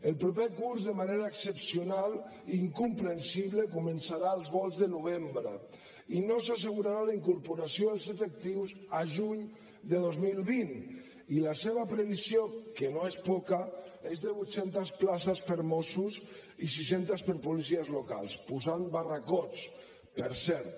el proper curs de manera excepcional i incomprensible començarà als volts de novembre i no s’assegurarà la incorporació dels efectius a juny de dos mil vint i la seva previsió que no és poca és de vuit centes places per a mossos i sis centes per a policies locals posant barracots per cert